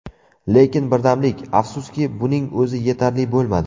Lekin birdamlik… afsuski, buning o‘zi yetarli bo‘lmadi.